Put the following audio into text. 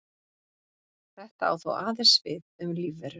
Þetta á þó aðeins við um lífverur.